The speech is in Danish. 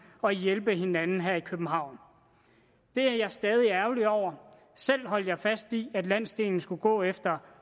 og hjælpe hinanden her i københavn det er jeg stadig ærgerlig over selv holdt jeg fast i at landsdelen skulle gå efter